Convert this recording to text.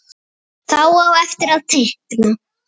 Þá á eftir að teikna.